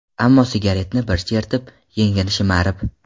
Ammo sigaretni bir chertib, yengini shimarib.